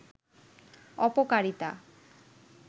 অপকারিতা